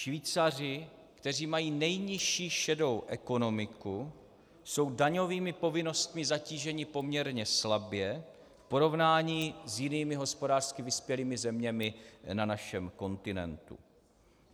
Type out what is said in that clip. Švýcaři, kteří mají nejnižší šedou ekonomiku, jsou daňovými povinnostmi zatíženi poměrně slabě v porovnání s jinými hospodářsky vyspělými zeměmi na našem kontinentu.